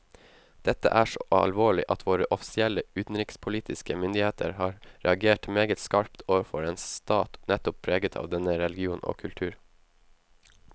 Dette er så alvorlig at våre offisielle utenrikspolitiske myndigheter har reagert meget skarpt overfor en stat nettopp preget av denne religion og kultur.